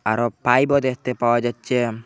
আরও পাইপও দেখতে পাওয়া যাচ্ছে।